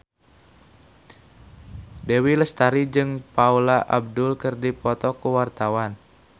Dewi Lestari jeung Paula Abdul keur dipoto ku wartawan